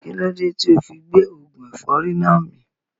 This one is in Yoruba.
Kílódé tíì ofi gbé oògùn ẹ̀fọ́rì náà mì